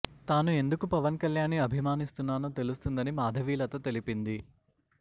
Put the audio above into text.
తాను ఎందుకు పవన్ కళ్యాణ్ ని అభిమానిస్తున్నానో తెలుస్తుందని మాధవీలత తెలిపింది